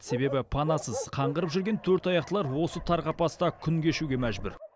себебі панасыз қаңғырып жүрген төртаяқтылар осы тар қапаста күн кешуге мәжбүр